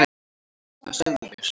hvað sögðu þeir?